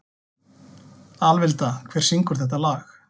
Alvilda, hver syngur þetta lag?